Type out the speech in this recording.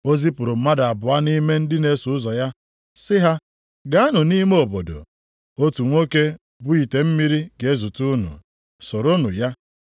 O zipụrụ mmadụ abụọ nʼime ndị na-eso ụzọ ya, sị ha, “Gaanụ nʼime obodo, otu nwoke bu ite mmiri ga-ezute unu. Soronụ ya.